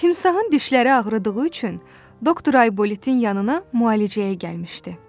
Timsahın dişləri ağrıdığı üçün doktor Aybolitin yanına müalicəyə gəlmişdi.